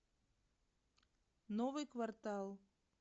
новый квартал